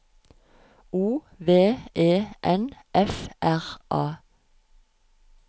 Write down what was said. O V E N F R A